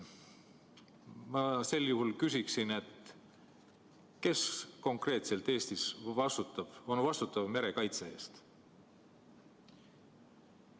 Ma küsin: kes konkreetselt on Eestis vastutav merekaitse eest?